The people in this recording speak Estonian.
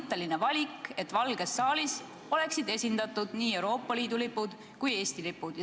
See oleks põhimõtteline otsus, et Valges saalis oleksid esindatud nii Euroopa Liidu lipud kui ka Eesti lipud.